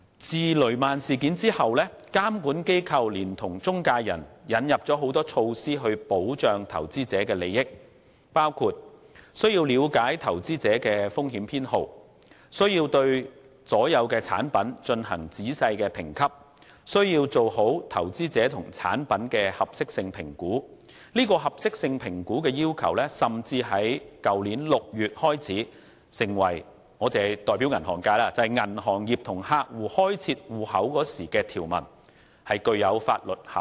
自雷曼事件後，監管機構聯同中介人引進了很多措施來保障投資者的利益，包括中介人需要了解投資者的風險偏好，需要對所有產品進行仔細的評級，需要做好投資者與產品的合適性評估，而合適性評估的要求更於去年6月開始成為——我是代表銀行界——銀行與客戶開設戶口時的條文，具有法律效力。